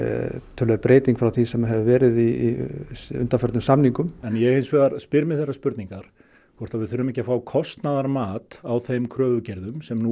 töluverð breyting frá því sem hefur verið í undanförnum samningum en ég hins vegar spyr mig þeirrar spurningar hvort að við þurfum ekki að fá kostnaðarmat á þeim kröfugerðum sem nú